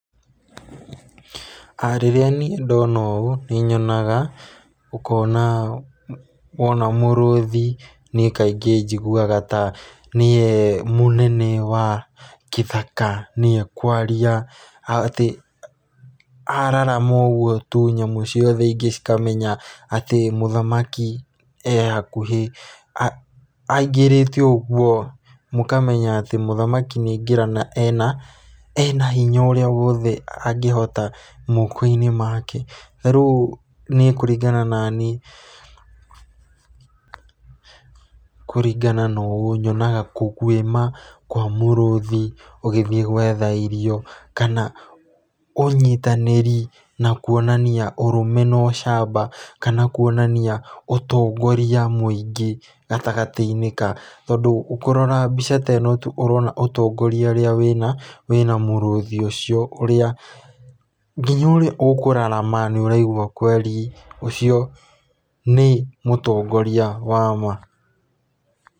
Rĩrĩa niĩ ndona ũũ nĩ nyonaga, ũkona wona mũrũthi niĩ kaingi njĩgũaga nie mũnene wa gĩthaka niĩ kwarĩa atĩ ararama ũgũo tũ nyamũ ciothe cĩkamenya atĩ mũthamaki ehakũhĩ aingirĩte ũgũo mũkamenya atĩ mũthamaki nĩ aingĩra na ena hinya ũrĩa wothe angĩhota moko-inĩ make, tarĩũ nĩe kũringana na niĩ, kũrĩngana na ũũ kũgwĩma gwa mũrũthi ũgĩthiĩ gwetha irĩo kana ũnyitanĩrĩ na kuonania ũrũme na ũcamba kana kũonania ũtongorĩa mũingi gatagatĩ-inĩ ka tondũ kũrora mbica teno tũ ũrona ũtongoria ũria wina mũrũthi ũcĩo nginya ũrĩa ũkũrarama nĩ ũraigwa kwelĩ ũcio nĩ mũtongoria wama.